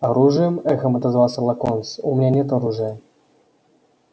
оружием эхом отозвался локонс у меня нет оружия